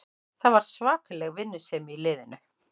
Það var svakaleg vinnusemi í liðinu